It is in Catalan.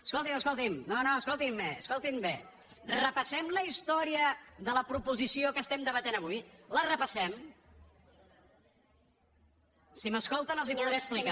escolti’m escolti’m no no escoltin bé escoltin bé repassem la història de la proposició que estem debatent avui la repassem si m’escolten els ho podré explicar